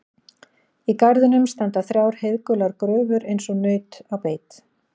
Í garðinum standa þrjár heiðgular gröfur eins og naut á beit.